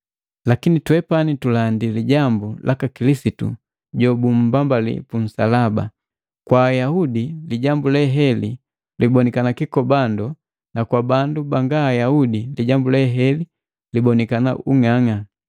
Lakini twepani tulandi lijambu laka Kilisitu jobumbambali punsalaba. Kwa Ayahude lijambu leheli libonikana kikobando na kwa bandu banga Ayaudi lijambu leheli libonikana ung'ang'a,